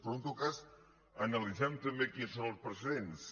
però en tot cas analitzem tam·bé quins són els precedents